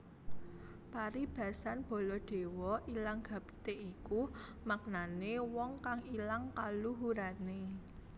Paribasan Baladéwa ilang gapité iku maknané wong kang ilang kaluhurané